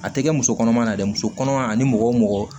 A tɛ kɛ musokɔnɔma na dɛ musokɔnɔma ani mɔgɔ o mɔgɔ